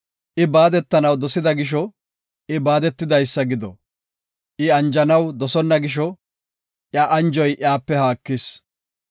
I baaddanaw dosida gisho, I baadetidaysa gido. I anjanaw dosonna gisho, iya anjoy iyape haakis.